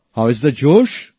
how is josh